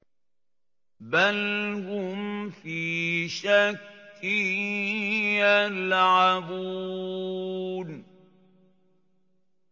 بَلْ هُمْ فِي شَكٍّ يَلْعَبُونَ